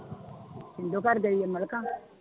ਸਿੰਦੋ ਘਰ ਗਈ ਹੈ ਮਲਿਕਾ?